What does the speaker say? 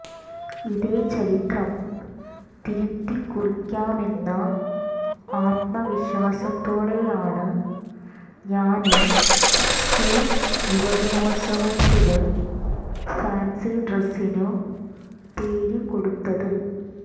ഇതേ ചരിത്രം തിരുത്തിക്കുറിയ്ക്കാമെന്ന ആത്മവിശ്വാസത്തോടെയാണ് ഞാന് സ്ക്കൂള് യുവജനോത്സവത്തില് ഫാന്സി ഡ്രസ്സിനു പേരു കൊടുത്തത്